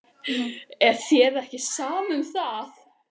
Er þér ekki sama um það?